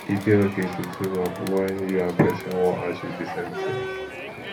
e de okay to team up when you and persin won achieve di same thing